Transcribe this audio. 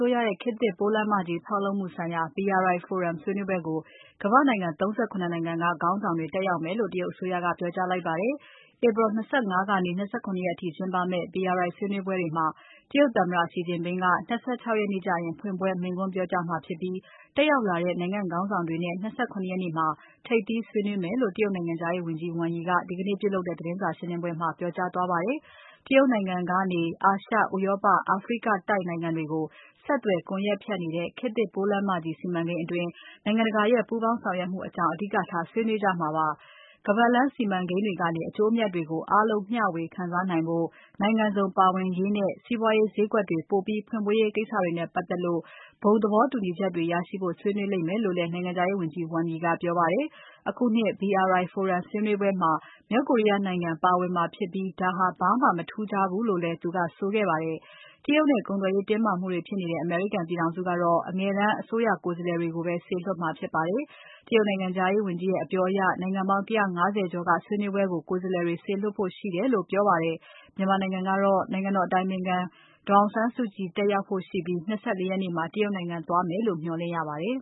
ိုးရရဲ့ ခေတ်သစ်ပိုးလမ်းမကြီး ဖောက်လုပ်မှုဆိုင်ရာ BRI Forum ဆွေးနွေးပွဲကို ကမ္ဘာ့နိုင်ငံ ၃၇ နိုင်ငံက ခေါင်းဆောင်တွေ တက်ရောက်မယ်လို့ တရုတ်အစိုးရက ပြောကြားလိုက်ပါတယ်။ ဧပြီ ၂၅ ကနေ ၂၇ ရက်အထိကျင်းပမယ့် BRI ဆွေးနွေးပွဲတွေမှာ တရုတ်သမ္မတ Xi Jinping က ၂၆ ရက်နေ့ ကျရင် ဖွင့်ပွဲမိန့်ခွန်း ပြောကြားမှာဖြစ်ပြီး တက်ရောက်လာတဲ့ နိုင်ငံခေါင်းဆောင်တွေနဲ့ ၂၇ ရက်နေ့မှာ ထိပ်သီးဆွေးနွေးမယ်လို့ တရုတ်နိုင်ငံခြားရေးဝန်ကြီး Wang Yi က ဒီကနေ့ပြုလုပ်တဲ့ သတင်းစာရှင်းပွဲမှာ ပြောကြားသွားပါတယ်။ တရုတ်နိုင်ငံကနေ အာရှ၊ ဥရောပ၊ အာဖရိကတိုက်နိုင်ငံတွေကို ဆက်သွယ်ကွန်ယက်ဖြန့်နေတဲ့ ခေတ်သစ်ပိုးလမ်းမကြီး စီမံကိန်းအတွင်း နိုင်ငံတကာရဲ့ ပူးပေါင်းဆောင်ရွက်မှုအကြောင်း အဓိကထား ဆွေးနွေးကြမှာဖြစ်ပါတယ်။ ခါးပါတ်လမ်းစီးမံကိန်းတွေကနေ အကျိုးအမြတ်တွေကို အားလုံးမျှဝေ ခံစားနိုင်ဖို့ နိုင်ငံစုံပါဝင်ရေးနဲ့ စီးပွားရေးဈေးကွက်တွေ ပိုပြီး ဖွင့်ပေးရေးကိစ္စတွေနဲ့ ပါတ်သက်ပြီး ဘုံသဘောတူညီချက်ရရှိဖို့ ဆွေးနွေးလိမ့်မယ်လို့လည်း နိုင်ငံခြားရေးဝန်ကြီး Wang Yi ကပြောပါတယ်။ အခုနှစ် BRI Forum ဆွေးနွေးပွဲမှာ မြောက်ကိုရီးယားနိုင်ငံ ပါဝင်မှာဖြစ်ပြီး ဒါဟာ ဘာမှမထူးခြားဘူးလို့လည်း သူကဆိုခဲ့ပါတယ်။ တရုတ်နဲ့ ကုန်သွယ်ရေးတင်းမာမှုတွေ ဖြစ်နေတဲ့ အမေရိကန်ပြည်ထောင်စုက အငယ်တန်း အစိုးရကိုယ်စားလှယ်တွေကိုပဲ စေလွှတ်မှာဖြစ်ပါတယ်။ တရုတ်နိုင်ငံခြားရေးဝန်ကြီးရဲ့ အပြောအရ နိုင်ငံပေါင်း ၁၅၀ ကျော်က ဆွေးနွေးပွဲကို ကိုယ်စားလှယ်တွေ စေလွှတ်ဖို့ရှိတယ်လို့ ပြောပါတယ်။ မြန်မာနိုင်ငံကတော့ နိုင်ငံတော်အတိုင်ပင်ခံ ဒေါ်အောင်ဆန်းစုကြည် တက်ရောက်ဖို့ရှိပြီး ၂၄ ရက်နေ့မှာ တရုတ်နိုင်ငံ သွားမယ်လို မျှော်လင့်ရပါတယ်။